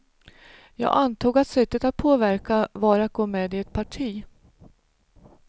Jag antog att sättet att påverka var att gå med i ett parti.